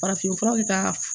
Farafinfura bɛ taa